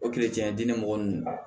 O diinɛ mɔgɔ ninnu a